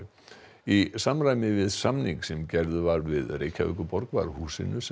í samræmi við samning sem gerður var við Reykjavíkurborg var húsinu sem